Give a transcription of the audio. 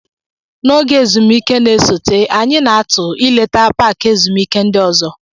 N'oge ezumike na-esote, anyị na-atụ ileta paaki ezumike ndị ọzọ.